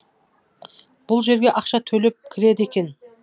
бұл жерге ақша төлеп кіреді екен